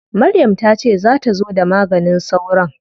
Maryam ta ce za ta zo da maganin sauron?